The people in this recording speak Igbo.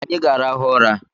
Anyi ga-arahụ ụra